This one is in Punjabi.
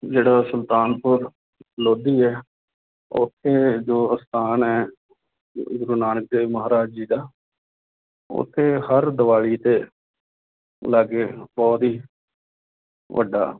ਜਿਹੜਾ ਸੁਲਤਾਨਪੁਰ ਲੋਧੀ ਹੈ ਉੱਥੇ ਜੋ ਅਸਥਾਨ ਹੈ ਸ੍ਰੀ ਗੁਰੂ ਨਾਨਕ ਦੇਵ ਮਹਾਰਾਜ ਜੀ ਦਾ ਉੱਥੇ ਹਰ ਦੀਵਾਲੀ ਦੇ ਲਾਗੇ ਬਹੁਤ ਹੀ ਵੱਡਾ